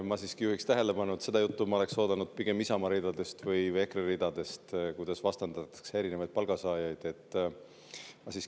Ma juhin siiski tähelepanu sellele, et seda juttu, kuidas vastandatakse erinevaid palgasaajaid, ma oleksin oodanud pigem Isamaa või EKRE ridadest.